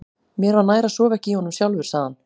Mér var nær að sofa ekki í honum sjálfur, sagði hann.